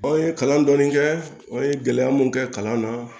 kalan dɔɔni kɛ an ye gɛlɛya mun kɛ kalan na